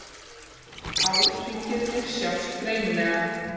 Árhringirnir sjást greinilega.